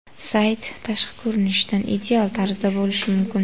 Sayt tashqi ko‘rinishidan ideal tarzda bo‘lishi mumkin.